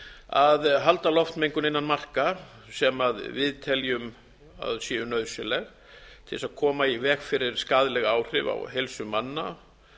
að halda loftmengun innan marka sem við teljum að séu nauðsynleg til að koma í veg fyrir skaðleg áhrif á heilsu manna